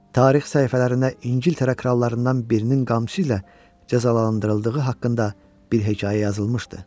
Tarix səhifələrinə İngiltərə krallarından birinin qamçısı ilə cəzalandırıldığı haqqında bir hekayə yazılmışdı.